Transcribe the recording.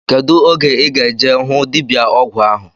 Kedụ oge ị ga-eje hụ dibịa ọgwụ ahu?